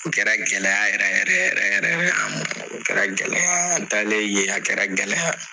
U kɛra gɛlɛya yɛrɛ yɛrɛ yɛrɛ yɛrɛ an ma o kɛra gɛlɛya an talen yen a kɛra gɛlɛya.